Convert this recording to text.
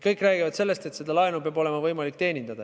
Kõik räägivad sellest, et seda laenu peab olema võimalik teenindada.